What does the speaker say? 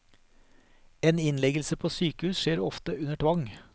En innleggelse på sykehus skjer ofte under tvang.